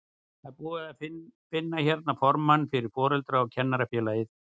Ég er búinn að finna hérna formanninn fyrir Foreldra- og kennarafélagið!